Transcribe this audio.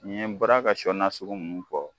N'i ye n bɔra ka shɔ nasugu mun fɔ